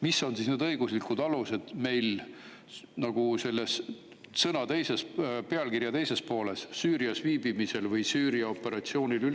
millised on operatsiooni teise poolega õiguslikud alused, viibida Süürias, osaleda Süüria operatsioonil.